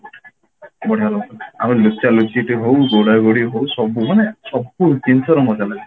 ବଢିଆ ସବୁ ଆମର ଲୁଚା ଲୁଚି ବି ହଉ ଗୋଡା ଗୋଡି ହଉ ସବୁ ମାନେ ସବୁ ଜିନିଷର ମଜା ଲାଗେ